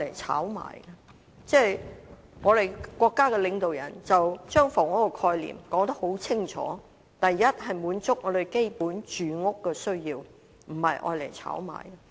我們的國家領導人把房屋的概念說得很清楚，首先是要滿足基本的住屋需要，不是用作炒賣。